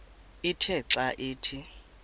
ithe xa ithi